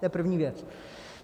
To je první věc.